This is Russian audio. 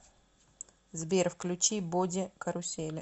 сбер включи боди карусели